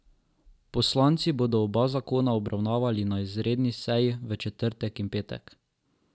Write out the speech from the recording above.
Poslanci bodo oba zakona obravnavali na izredni seji v četrtek in petek.